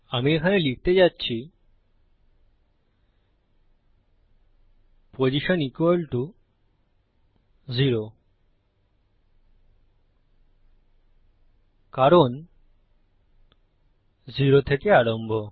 আমি এখানে লিখতে যাচ্ছি পোসশন 0 কারণ 0 থেকে আরম্ভ